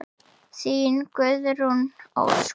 Þín, Guðrún Ósk.